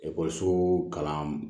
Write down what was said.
Ekɔliso kalan